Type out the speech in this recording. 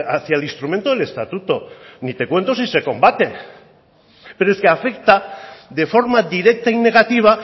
hacia el instrumento del estatuto ni te cuento si se combate pero es que afecta de forma directa y negativa